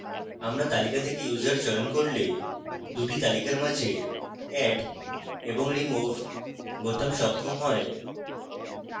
আমরা তালিকা থেকে users চয়ন করলে 2 the তালিকার মাঝে add এবং remove বোতাম সক্ষম হয়